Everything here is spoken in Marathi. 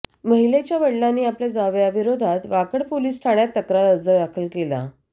महिलेच्या वडिलांनी आपल्या जावयाविरोधात वाकड पोलीस ठाण्यात तक्रार अर्ज दाखल केला